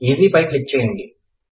EC పై click చేయండి